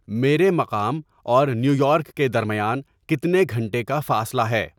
میرے مقام اور نیو یارک کے درمیان کتنے گھنٹے کا فاصلہ ہے